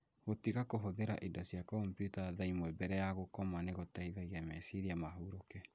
Gũtiga kũhũthĩra indo cia kompiuta thaa ĩmwe mbere ya gũkoma nĩ gũteithagia meciria mahurũke.